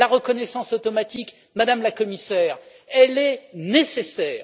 La reconnaissance automatique, Madame la Commissaire, est nécessaire.